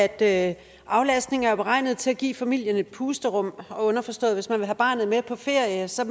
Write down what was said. at aflastning jo er beregnet til at give familien et pusterum underforstået at hvis man vil have barnet med på ferie så